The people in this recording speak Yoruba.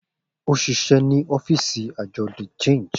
O ṣiṣẹ ni ọfiisi Ajọ de Change.